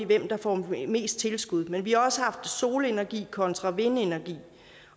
hvem der får mest tilskud men vi har også haft solenergi kontra vindenergi